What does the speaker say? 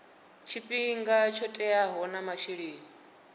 tshifhinga tsho teaho na masheleni